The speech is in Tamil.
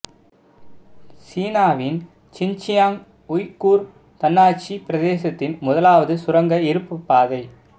சீனாவின் சின்ச்சியாங் உய்கூர் தன்னாட்சிப் பிரதேசத்தின் முதலாவது சுரங்க இருப்புப் பாதை